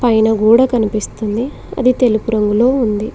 పైన కూడా కనిపిస్తుంది అది తెలుపు రంగులో ఉంది.